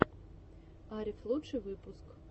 арев лучший выпуск